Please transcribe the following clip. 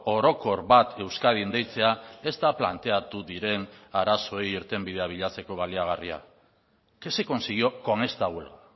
orokor bat euskadin deitzea ez da planteatu diren arazoei irtenbidea bilatzeko baliagarria qué se consiguió con esta huelga